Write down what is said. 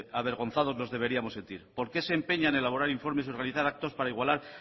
avergonzados nos deberíamos sentir por qué se empeñan en elaborar informes y realizar actos para igualar